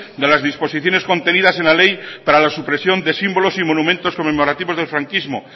de las disposiciones contenidas en la ley para la supresión de símbolos y monumentos conmemorativos del franquismo